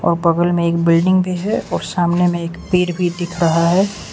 और बगल में एक बिल्डिंग भी है और सामने में एक पेड़ भी दिख रहा है।